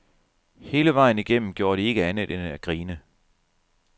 Hele vejen igennem gjorde de ikke andet end at grine.